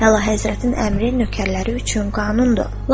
Əlahəzrətin əmri nökərləri üçün qanundur.